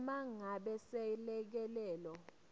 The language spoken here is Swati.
uma ngabe selekelelo